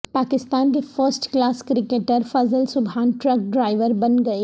پاکستان کے first class cricketer Fazal Subhan truck driver بن گئے